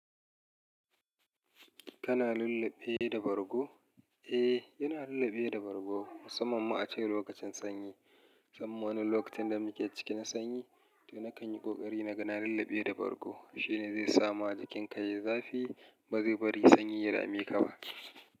Kana lulleɓe da bargo? Eh, yana lulleɓe da bargo musamman ma a cikin lokacin sanyi. Sam, wani lokacin da muke ciki na sanyi, to nakan yi ƙoƙari na gan lulleɓe da bargo. Shi ne zai sa ma jikinka ya yi zafi, ba zai bari sanyi ya dame ka ba.